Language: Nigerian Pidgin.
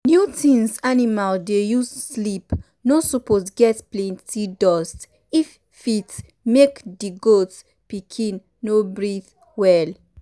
new things animal dey use sleep no suppose get plenty dust if fit make di goat pikin no breathe well.